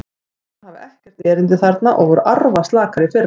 Sumar hafa ekkert erindi þarna og voru arfaslakar í fyrra.